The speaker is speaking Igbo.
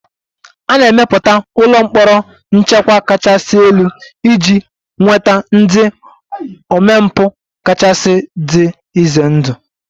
A na-emepụta ụlọ mkpọrọ nchekwa kachasị elu iji nweta ndị omempụ kachasị dị ize ndụ